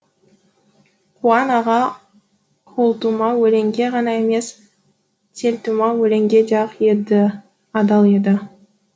қуан аға қолтума өлеңге ғана емес телтума өлеңге де ақ еді адал еді